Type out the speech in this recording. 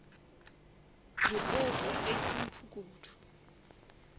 dipoko ge e se bomphukudu